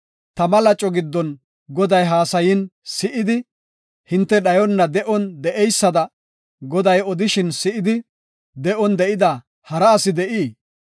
Tama laco giddon Goday haasayin si7idi, hinte dhayona de7on de7eysada Goday odishin si7idi, de7on de7ida hara asi de7ii?